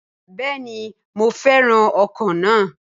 Bẹẹni mo fẹràn ọkọ na.